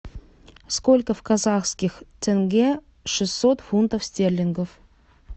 сколько в казахских тенге шестьсот фунтов стерлингов